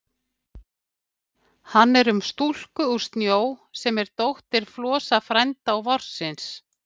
Hann er um stúlku úr snjó, sem er dóttir Frosta frænda og Vorsins.